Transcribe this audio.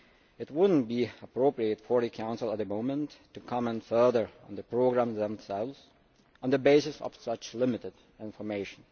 It would not be appropriate for the Council at the moment to comment further on the programmes themselves on the basis of such limited information.